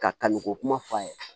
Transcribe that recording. Ka kanni ko kuma f'a ye